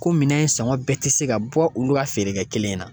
Ko minɛn sɔngɔn bɛɛ tɛ se ka bɔ olu ka feere kɛ kelen in na